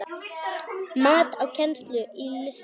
Mat á kennslu í listum